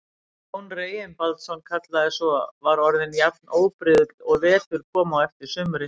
Jón Reginbaldsson kallaði svo, var orðin jafn óbrigðul og vetur kom á eftir sumri.